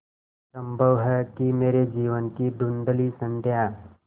संभव है कि मेरे जीवन की धँुधली संध्या